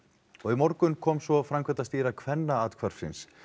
í morgun kom svo framkvæmdastýra Kvennaathvarfsins